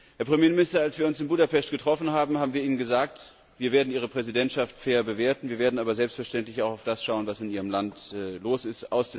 Herr Premierminister, als wir uns in Budapest getroffen haben, haben wir Ihnen gesagt, wir werden Ihre Präsidentschaft fair bewerten, wir werden aber selbstverständlich auch auf das schauen, was in Ihrem Land los ist.